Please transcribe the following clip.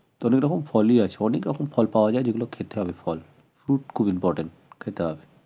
রকম ফালই আছে অনেক রকম ফল পাওয়া যায় যেগুলা খেতে হবে ফল খুব important খেতে হবে